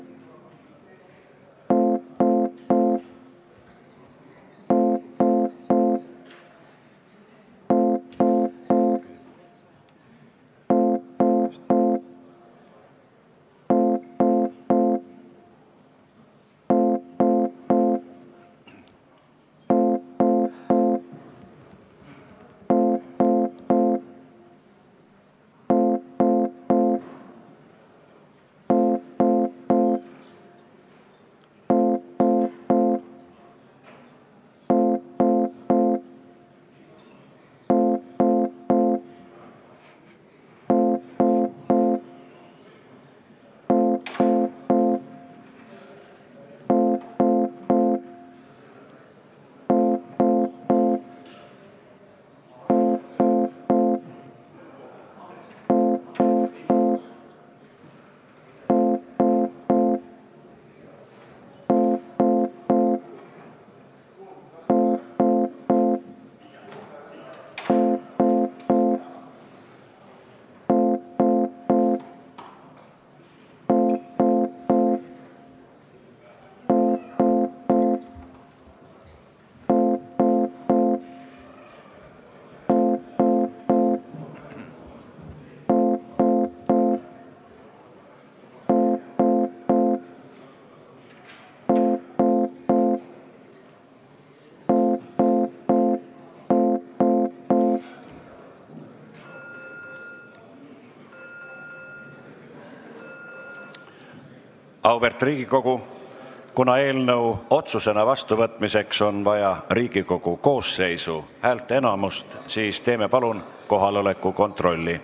Auväärt Riigikogu, kuna eelnõu otsusena vastuvõtmiseks on vaja Riigikogu koosseisu häälteenamust, siis teeme palun kohaloleku kontrolli.